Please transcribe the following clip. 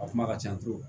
A kuma ka ca